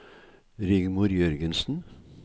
Rigmor Jørgensen